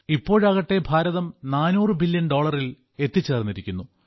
ഇപ്പോഴാകട്ടെ Bharatham 400 billion ഡോളറിൽ എത്തിച്ചേർന്നിരിക്കുന്നു